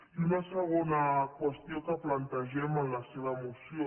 i una segona qüestió que plantegem en la seva moció